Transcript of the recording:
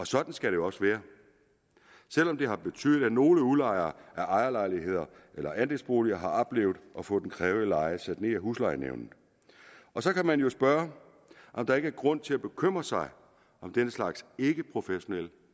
sådan skal det også være selv om det har betydet at nogle udlejere af ejerlejligheder eller andelsboliger har oplevet at få den krævede leje sat ned af huslejenævnet så kan man jo spørge om der ikke er grund til at bekymre sig om den slags ikkeprofessionelle